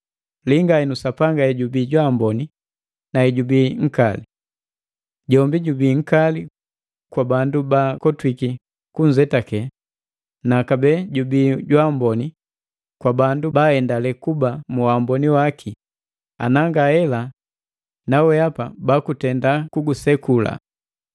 Linga henu Sapanga hejubii jwaamboni na hejubi nkali. Jombi jubii nkali kwa bandu baakotwiki kunzetake, na kabee jubii jwaamboni kwabandu baaendale kuba mu waamboni waki ana ngahela naweapa bakutenda kuguseku.